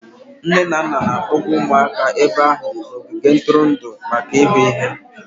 Nne na nna na-akpọga ụmụaka ebe ahụ n'ogige ntụrụndụ maka ịhụ ihe.